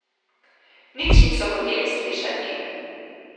Nič niso hoteli slišati.